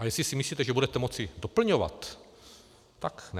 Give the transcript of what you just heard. A jestli si myslíte, že budete moci doplňovat, tak ne.